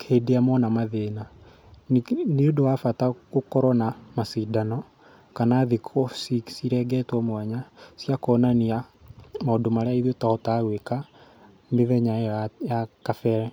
hĩndĩ ĩrĩa mona mathĩna. Nĩ ũndũ wa bata gũkorwo na macindano, kana thikũ cirengetwo mwanya, cia kuonania maũndũ marĩa ithuĩ tũhotaga gwĩka mĩthenya ĩyo ya ya kabere.